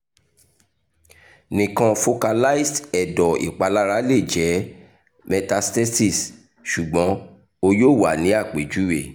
nikan focalized ẹdọ ipalara le jẹ metastases sugbon o yoo wa ni apejuwe